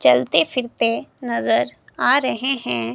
चलते फिरते नजर आ रहें हैं।